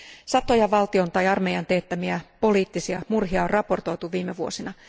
Satoja valtion tai armeijan teettämiä poliittisia murhia on raportoitu viime vuosina.